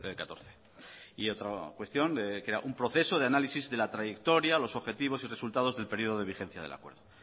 catorce y otra cuestión crea un proceso de análisis de la trayectoria los objetivos y resultados del periodo de vigencia del acuerdo